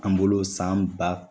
An bolo sanba